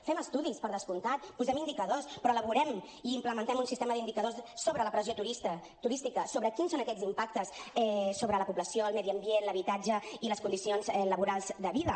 fem estudis per descomptat posem indicadors però elaborem i implementem un sistema d’indicadors sobre la pressió turística sobre quins són aquests impactes sobre la població el medi ambient l’habitatge i les condicions laborals de vida